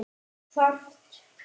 Þarf fleiri?